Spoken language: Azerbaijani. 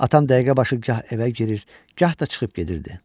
Atam dəqiqə başı gah evə girir, gah da çıxıb gedirdi.